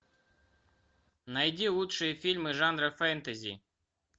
найди лучшие фильмы жанра фэнтези